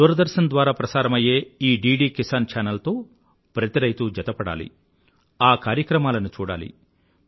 దూరదర్శన్ ద్వారా ప్రసారమయ్యే ఈ డిడి కిసాన్ ఛానల్ తో ప్రతి రైతూ జతపడాలి ఆ కార్యక్రమాలను చూడాలి